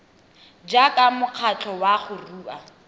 jaaka mokgatlho wa go rua